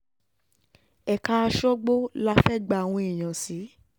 ẹ̀ka àṣọ́gbó la fẹ́ẹ́ gba àwọn èèyàn sí